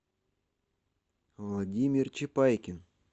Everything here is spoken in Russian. владимир чепайкин